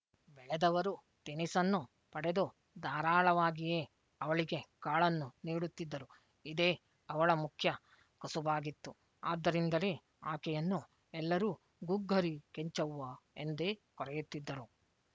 ಬೆಳೆದವರು ತಿನಿಸನ್ನು ಪಡೆದು ಧಾರಾಳವಾಗಿಯೇ ಅವಳಿಗೆ ಕಾಳನ್ನು ನೀಡುತ್ತಿದ್ದರು ಇದೇ ಅವಳ ಮುಖ್ಯ ಕಸುಬಾಗಿತ್ತು ಆದ್ದರಿಂದಲೇ ಆಕೆಯನ್ನು ಎಲ್ಲರೂ ಗುಗ್ಗರಿ ಕೆಂಚವ್ವ ಎಂದೇ ಕರೆಯುತ್ತಿದ್ದರು